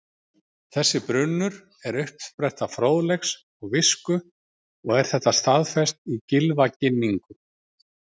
Þessi brunnur er uppspretta fróðleiks og visku og er þetta staðfest í Gylfaginningu: